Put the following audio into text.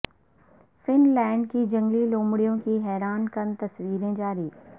fun land کی جنگلی لومڑیوں کی حیران کن تصویریں جاری